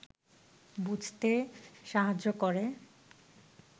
বুঝতে সাহায্য করে